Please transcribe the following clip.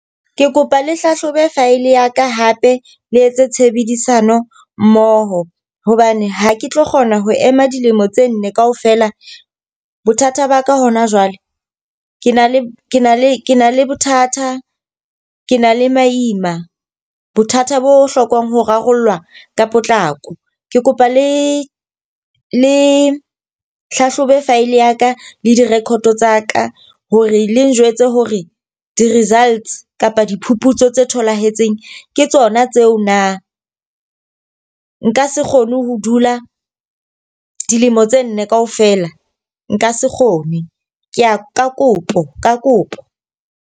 Ke kopa le hlahlobe file ya ka hape le etse tshebedisano mmoho. Hobane ha ke tlo kgona ho ema dilemo tse nne ka ofela. Bothata ba ka hona jwale ke na le ke na le ke na le bothata, ke na le maima. Bothatha bo hlokang ho rarollwa ka potlako. Ke kopa le le hlahlobe file ya ka le di-record tsa ka hore le njwetse hore di-results kapa diphuputso tse tholahetseng ke tsona tseo na. Nka se kgone ho dula dilemo tse nne ka ofela, nka se kgone. Ke a ka kopo, ka kopo.